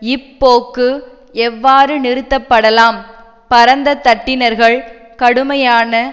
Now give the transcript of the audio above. இப்போக்கு எவ்வாறு நிறுத்தப்படலாம் பரந்த தட்டினர்கள் கடுமையான